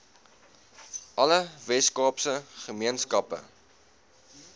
alle weskaapse gemeenskappe